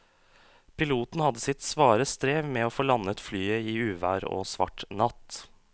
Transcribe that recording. Piloten hadde sitt svare strev med å få landet flyet i uvær og svart natt.